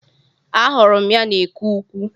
Ahụrụ m ya n'eke ukwu